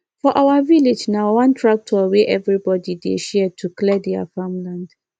for our village na one tractor wey everybody dey share to clear their farm land